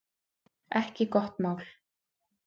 Ekki gott mál